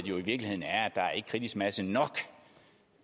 kritisk masse nok